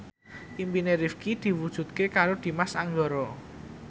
impine Rifqi diwujudke karo Dimas Anggara